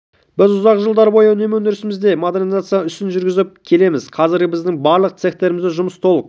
біз ұзақ жылдар бойы үнемі өндірісімізде модернизациялау ісін жүргізіп келеміз қазіргі біздің барлық цехтерімізде жұмыс толық